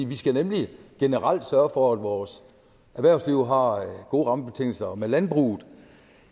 vi skal nemlig generelt sørge for at vores erhvervsliv har gode rammebetingelser og med landbruget